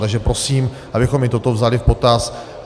Takže prosím, abychom i toto vzali v potaz.